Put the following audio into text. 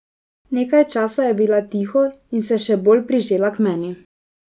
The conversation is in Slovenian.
Nekaj časa je bila tiho in se še bolj prižela k meni.